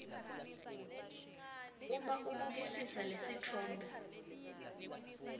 uma ubukisisa lesitfombe